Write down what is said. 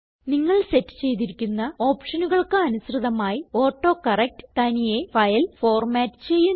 നിങ്ങൾ സെറ്റ് ചെയ്തിരിക്കുന്ന ഓപ്ഷനുകൾക്ക് അനുസൃതമായി ഓട്ടോകറക്ട് തനിയെ ഫയൽ ഫോർമാറ്റ് ചെയ്യുന്നു